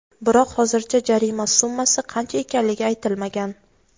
Biroq hozircha jarima summasi qancha ekanligi aytilmagan.